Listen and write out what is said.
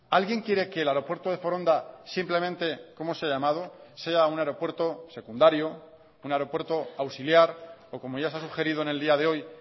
alguien quiere que el aeropuerto de foronda simplemente como se ha llamado sea un aeropuerto secundario un aeropuerto auxiliar o como ya se ha sugerido en el día de hoy